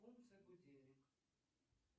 функция будильник